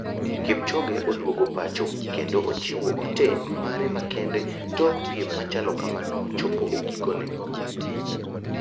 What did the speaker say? Kipchoge oduogo pacho kendo ochiwo ote mare makende tok piem machalo kamano chopo e gikone.